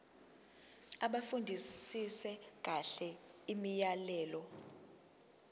bafundisise kahle imiyalelo